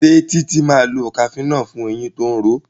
Ṣe Titi má lọ cafenol fún ẹyìn tó ń ró